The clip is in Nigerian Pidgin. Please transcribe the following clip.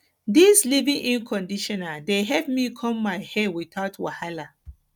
dis dis leavein conditioner dey help me comb my hair witout wahala